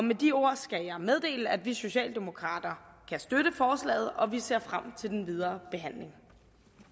med de ord skal jeg meddele at vi socialdemokrater kan støtte forslaget og vi ser frem til den videre behandling